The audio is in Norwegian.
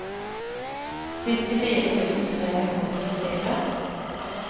syttifire tusen tre hundre og syttifire